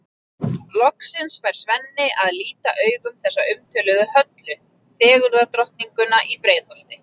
Loksins fær Svenni að líta augum þessa umtöluðu Höllu, fegurðardrottninguna í Breiðholti.